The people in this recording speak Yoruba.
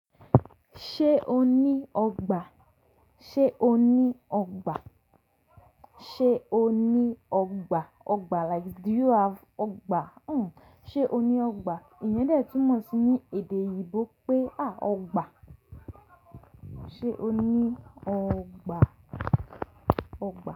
Ṣé o ní ọgbà? Ṣé o ní ọgbà? Ṣé o ní ọgbà? Ọgbà like do you have ọgbà? Hmm. Ṣé o ní ọgbà? Ìyẹn dè tí mo ti ní èdè yibò pé àá ọgbà. Ṣé o ní ọgbà? Ọgbà.